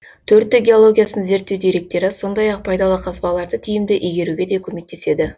төрттік геологиясын зерттеу деректері сондай ақ пайдалы қазбаларды тиімді игеруге де көмектеседі